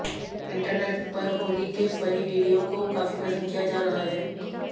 internet पर होली के funny video को काफी पसंद किया जा रहा है